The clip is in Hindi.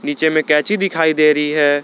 नीचे में कैंची दिखाई दे रही है।